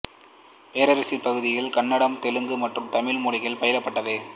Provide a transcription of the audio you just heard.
பேரரசின் பகுதிகளில் கன்னடம் தெலுங்கு மற்றும் தமிழ் மொழிகள் பயிலப்பட்டது